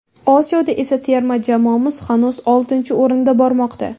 Osiyoda esa terma jamoamiz hanuz oltinchi o‘rinda bormoqda.